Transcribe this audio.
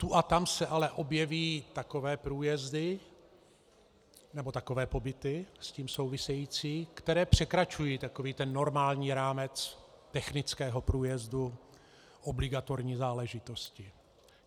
Tu a tam se ale objeví takové průjezdy nebo takové pobyty s tím související, které překračují takový ten normální rámec technického průjezdu, obligatorní záležitosti.